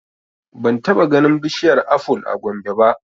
Ban taɓa ganin bishiyar aful a Gombe ba